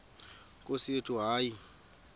nkosi yethu hayi